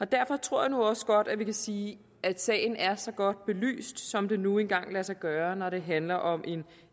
derfor tror jeg nu også godt at vi kan sige at sagen er så godt belyst som det nu engang lader sig gøre når det handler om en